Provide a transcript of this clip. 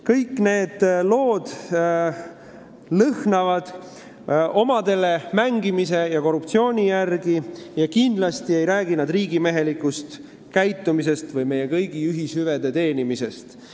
Kõik need lood lõhnavad omadele mängimise ja korruptsiooni järele ning kindlasti ei räägi nad riigimehelikust käitumisest või meie kõigi ühishüvede teenimisest.